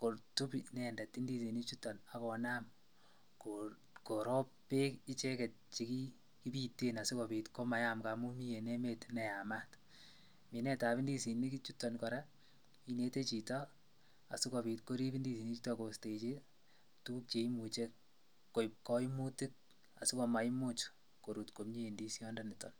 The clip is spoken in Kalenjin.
kotub inendet indisinichuton ak konam korob beek icheket chekibiten asikobit komayam ng'amun mii en emet neyamat, minetab indisinichuton kora inete chito asikobit korib indisinichuton kostechi tukuk cheimuche koib koimutik asikomaimuch korut komie indisiondoniton.